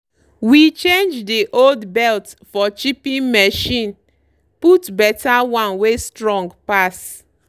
we change dey old belt for chipping machine put better one wey strong pass.